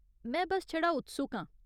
में बस छड़ा उत्सुक आं।